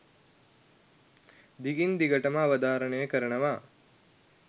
දිගින් දිගටම අවධාරණය කරනවා.